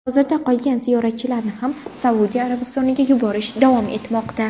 Hozirda qolgan ziyoratchilarni ham Saudiya Arabistoniga yuborish davom etmoqda.